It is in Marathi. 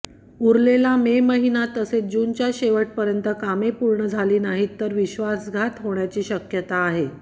उरलेला में महिना तसेच जूनच्या शेवटपर्यंत कामे पूर्ण झाली नाहीत तर विश्वासघात होण्याची शक्यता आहे